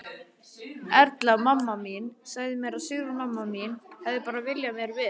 Erla, mamma mín, sagði mér að Sigrún, mamma mín, hefði bara viljað mér vel.